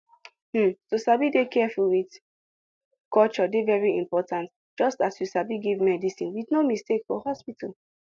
hmm to sabi dey careful with culture dey very important just as you sabi give medicine with no mistake for hospital